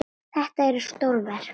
Þetta eru stór verk.